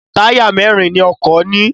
Táyà mẹ́rin ni ọkọ̀ ní.